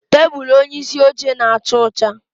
Tebụl onyeisi oche na-acha ọcha